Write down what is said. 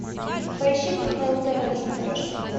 поищи кхл тв на смотрешке